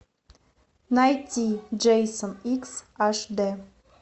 найти джейсон икс аш дэ